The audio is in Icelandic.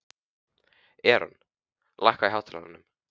Eron, lækkaðu í hátalaranum.